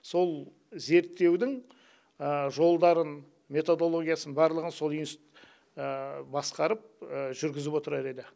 сол зерттеудің жолдарын методологиясын барлығын сол институт басқарып жүргізіп отырар еді